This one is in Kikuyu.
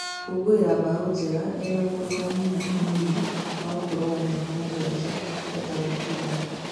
Gũkũngũira mbao Njenga ena mũrũ wa nyina mũnini wa ũkũrũ wa mĩaka mũgwanja etagwo Kuria.